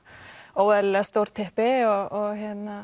óeðlilega stór typpi og